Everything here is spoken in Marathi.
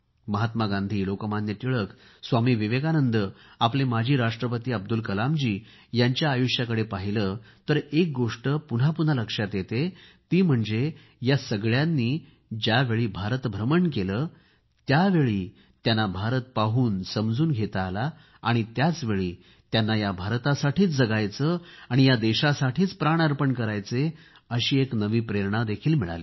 महात्मा गांधी लोकमान्य टिळक स्वामी विवेकानंद आपले माजी राष्ट्रपती अब्दुल कलामजी यांच्या आयुष्याचकडे पाहिले तर एक गोष्ट पुन्हा पुन्हा लक्षात येते ती म्हणजे या सगळ्यांनी ज्यावेळी भारत भ्रमण केले त्यावेळी त्यांना भारत पाहूनसमजून घेता आला आणि त्याचवेळी त्यांना या भारतासाठीच जगायचे आणि या देशासाठीच प्राण अर्पण करायचे अशी एक नवी प्रेरणा मिळाली